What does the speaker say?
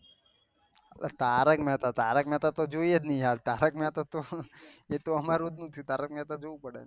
તારક મેહતા તારક મેહતા તો જોયીયે ને યાર તારક મેહતા તો શું એ તો અમે એ તો અમાર